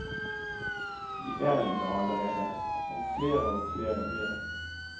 De er jo der allerede, og flere og flere blir det.